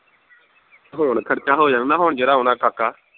ਹੁਣ ਖਰਚਾ ਹੋ ਜਾਣਾ ਹੁਣ ਜਿਹੜਾ ਆਉਣਾ ਠਾਕਾ